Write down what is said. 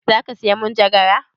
Za ka saya manjagara?